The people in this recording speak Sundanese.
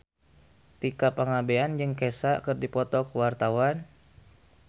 Tika Pangabean jeung Kesha keur dipoto ku wartawan